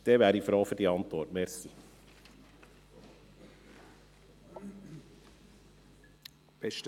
– Wenn ja, wäre ich froh über die entsprechende Antwort.